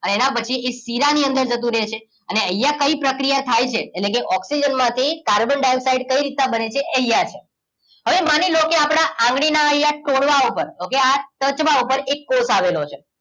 એના પછી શીરાની અંદર જતું રે છે અનેઅહિયાં કઈ પ્રક્રિયા થાય છે એટલેકે ઓક્સિજન માંથી કાર્બન ડાઇઓક્સાઇડ કઈ રીતના બને છે એ અહિયાં છે હવે માની લોકે આપણા આગળી ના અહિયાં તોરવા ઉપરઓકે આ ટચલા ઉપર એક કોષ આવેલો છે